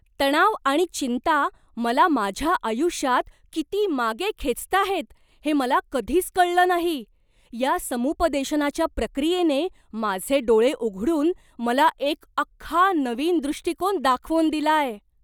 तणाव आणि चिंता मला माझ्या आयुष्यात किती मागे खेचताहेत हे मला कधीच कळलं नाही. या समुपदेशनाच्या प्रक्रियेने माझे डोळे उघडून मला एक अख्खा नवीन दृष्टीकोन दाखवून दिलाय!